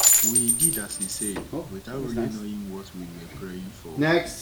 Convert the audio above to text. We did as he said, without really knowing what we were praying for.